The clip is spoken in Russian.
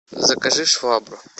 закажи швабру